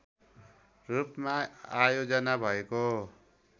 रूपमा आयोजना भएको